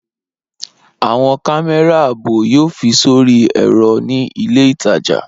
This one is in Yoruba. Awọn kamẹra aabo yoo fi sori ẹrọ ni ile itaja.